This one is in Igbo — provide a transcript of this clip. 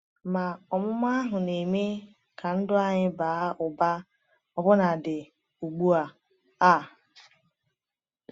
Ma ọmụma ahụ na-eme ka ndụ anyị baa ụba ọbụnadị ugbu a. a.